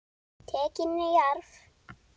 Tekin í arf.